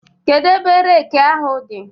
Kedu ebe reekị ahụ dị?